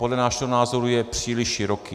Podle našeho názoru je příliš široký.